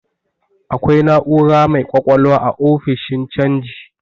Akwai na'ura mai ƙwaƙwalwa a ofishin canji.